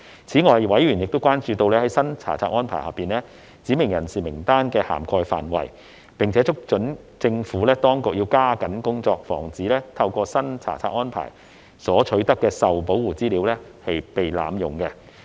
此外，委員亦關注在新查冊安排下，"指明人士"名單的涵蓋範圍，並促請政府當局加緊工作，防止透過新查冊安排所取得的受保護資料被濫用。